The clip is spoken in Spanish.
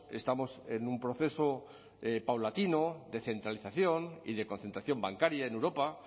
estamos en un proceso paulatino de centralización y de concentración bancaria en europa